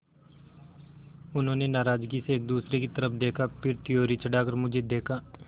उन्होंने नाराज़गी से एक दूसरे की तरफ़ देखा फिर त्योरी चढ़ाकर मुझे देखा